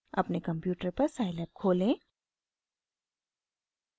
अपने कंप्यूटर पर scilab खोलें